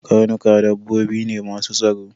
Karnuka dabbobi ne masu tsaro.